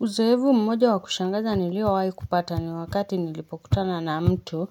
Uzoefu mmoja wa kushangaza niliowahi kupata ni wakati nilipo kutana na mtu